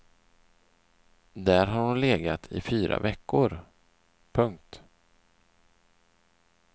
Där har hon legat i fyra veckor. punkt